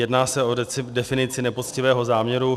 Jedná se o definici nepoctivého záměru.